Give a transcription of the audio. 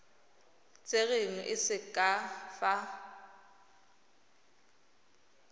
tserweng e se ka fa